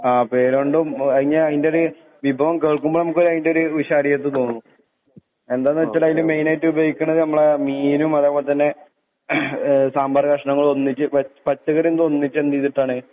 ആ പേരോണ്ടും അയിനെ അയിന്റൊരൂ വിഭവം കേൾക്കുമ്പൊ ഞമ്മക്ക് അയിന്റൊര് വിശാലിയത് തോന്നും എന്താന്ന് വെച്ചാല് അയില് മൈനായിട്ട് ഉപയോഗിക്ക്ണത് നമ്മളെ മീനും അതെപോലെ തന്നെ ഏ സാമ്പാറ് കഷ്ണങ്ങള് ഒന്നിച്ച് വെച്ച് പച്ചക്കറിയെന്തൊന്നിച്ചെന്തീത്ട്ടാണ്